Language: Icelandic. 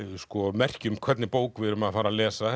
merki um hvernig bók við erum að fara að lesa